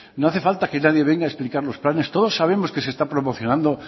no hace falta que nadie venga a explicarnos planes todos sabemos que se está promocionando